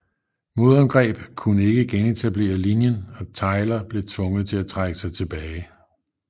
Modangreb kunne ikke genetablere linjen og Tyler blev tvunget til at trække sig tilbage